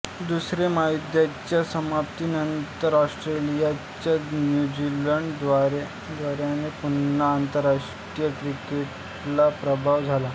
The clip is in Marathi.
दुसरे महायुद्धाच्या समाप्तीनंतर ऑस्ट्रेलियाच्या न्यूझीलंड दौऱ्याने पुन्हा आंतरराष्ट्रीय क्रिकेटला प्रारंभ झाला